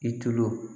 I tulo